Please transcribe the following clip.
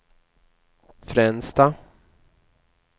Fränsta